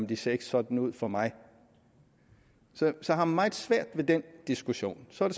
det ser ikke sådan ud for mig så jeg har meget svært ved den diskussion så er